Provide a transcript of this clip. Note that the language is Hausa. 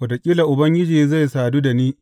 Wataƙila Ubangiji zai sadu da ni.